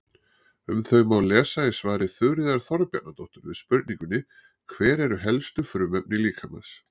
Um þau má lesa í svari Þuríðar Þorbjarnardóttur við spurningunni Hver eru helstu frumefni líkamans?